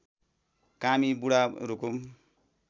कामी बुढा रुकुम